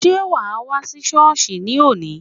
Sé wà á wá sí Sọ́ọ̀sì ní òní?